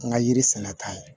N ka yiri sɛnɛta la